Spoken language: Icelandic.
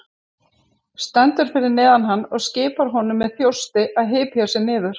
Stendur fyrir neðan hann og skipar honum með þjósti að hypja sig niður.